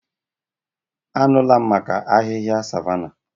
Anụla m maka ahịhịa savanna.